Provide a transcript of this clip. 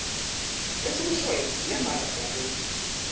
esikushoyo nembala siyakwenza